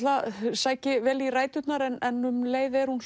sæki vel í ræturnar en um leið er hún